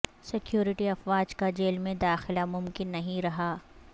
security افواج کا jail میں داخلہ ممکن نہیں رہا